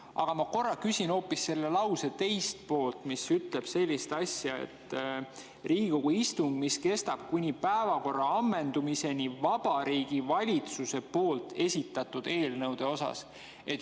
Aga ma küsin hoopis selle lause teise poole kohta, mis ütleb sellist asja: " Riigikogu istung, mis kestab kuni päevakorra ammendumiseni Vabariigi Valitsuse poolt esitatud eelnõude osas.